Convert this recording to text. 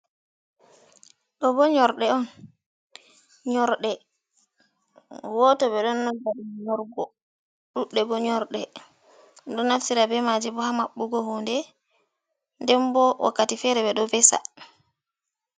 Do bo nyorde on nyorde woto be do nonda dum nyorgo, dudde bo nyorde do naftira bemaji bo ha mabbugo hunde den bo wakkati fere be do vesa